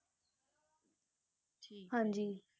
ਹਾਂਜੀ।